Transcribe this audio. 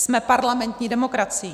Jsme parlamentní demokracií.